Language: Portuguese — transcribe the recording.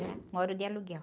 moro de aluguel.